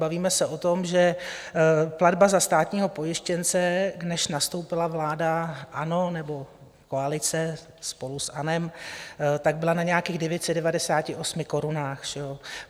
Bavíme se o tom, že platba za státního pojištěnce, než nastoupila vláda ANO, nebo koalice spolu s ANO, tak byla na nějakých 998 korunách.